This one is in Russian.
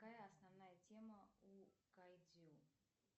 какая основная тема у кайдзю